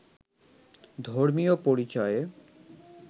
ধর্মীয় পরিচয়ে